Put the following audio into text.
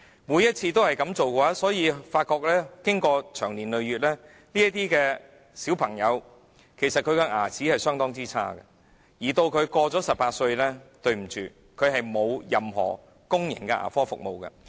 每次的情況也是這樣，因此長年累月下來，這些兒童的牙齒是相當差的，而當他們年滿18歲後，便不能使用任何公共牙科服務。